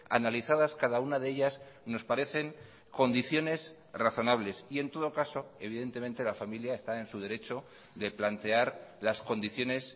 analizadas cada una de ellas nos parecen condiciones razonables y en todo caso evidentemente la familia está en su derecho de plantear las condiciones